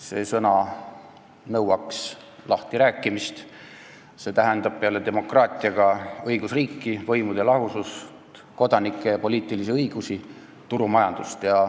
See sõna nõuab lahtirääkimist, see tähendab peale demokraatia ka õigusriiki, võimude lahusust, kodaniku- ja poliitilisi õigusi, turumajandust.